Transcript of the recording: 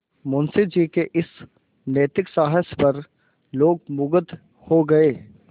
मुंशी जी के इस नैतिक साहस पर लोग मुगध हो गए